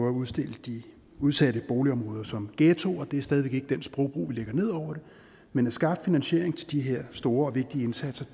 at udstille de udsatte boligområder som ghettoer det er stadig væk ikke den sprogbrug vi lægger ned over det men at skaffe finansiering til de her store og vigtige indsatser